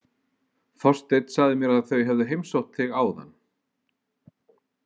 Þorsteinn sagði mér að þau hefðu heimsótt þig áðan.